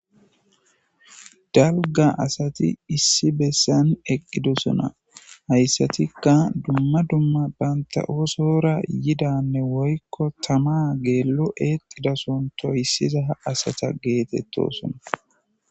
Daligga assati issi bessani eqidosona, hayssatikka duma duma banitta osdora yidda tama exxo toyisidda assata getetossona.